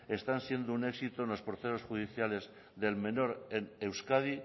están siendo un éxito en los procesos judiciales del menor en euskadi